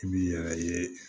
I bi yɛrɛ ye